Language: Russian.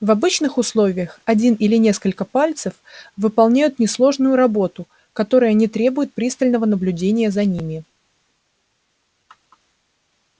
в обычных условиях один или несколько пальцев выполняют несложную работу которая не требует пристального наблюдения за ними